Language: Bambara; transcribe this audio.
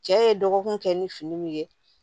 Cɛ ye dɔgɔkun kɛ ni fini min ye